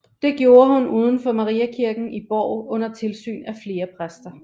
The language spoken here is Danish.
Det gjorde hun udenfor Mariakirken i Borg under tilsyn af flere præster